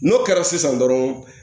N'o kɛra sisan dɔrɔn